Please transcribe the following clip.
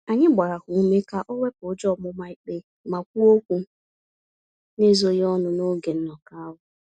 Anyị gbara ya ume ka owepụ ụjọ ọmụma-ikpe, ma kwuo okwu n'ezoghị ọnụ n'oge nnọkọ ahụ.